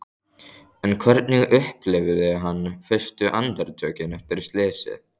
En hvernig upplifði hann fyrstu andartökin eftir slysið?